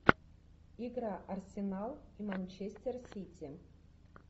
игра арсенал манчестер сити